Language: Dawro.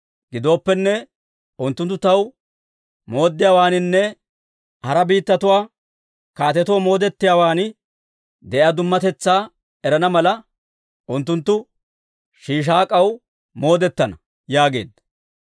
Gidooppenne, unttunttu taw moodetiyaawaaninne hara biittatuwaa kaatetoo moodetiyaawaan de'iyaa dummatetsaa erana mala, unttunttu Shiishaak'aw moodetana» yaageedda.